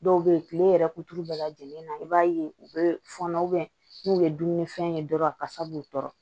Dɔw bɛ yen tile yɛrɛ kuturu bɛɛ lajɛlen na i b'a ye u bɛ fɔnɔ n'u ye dumunifɛn ye dɔrɔn a kasa b'u tɔɔrɔ